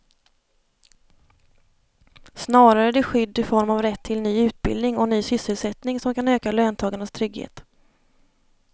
Snarare är det skydd i form av rätt till ny utbildning och ny sysselsättning som kan öka löntagarnas trygghet.